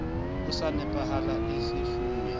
e sa nepahalang e sefuwe